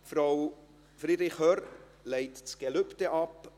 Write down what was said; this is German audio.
Frau Friederich Hörr legt das Gelübde ab.